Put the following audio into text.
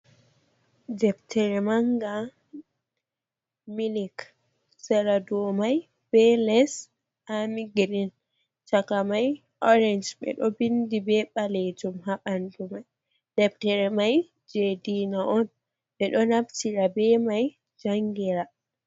Deftere manga milik, sera do mai be les amigirin, chaka mai orange ɓe ɗo vindi be balejum ha bandu mai, deftere mai je diina on, ɓe ɗo naftira be mai jangira.